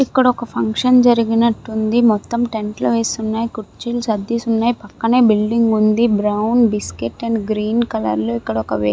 ఇక్కడ ఒక ఫంక్షన్ జరిగానట్టు ఉంది. మొత్తం టెంట్ లు వేసి ఉన్నాయి. కుర్చీలు సర్దేశి ఉన్నాయి. పక్కనే బిల్డింగ్ ఉంది. Brown biscuit and green colour లో ఇక్కడ ఒక వ్యక్తి --